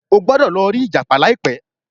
o gbódò lò ri ìjàpá laipe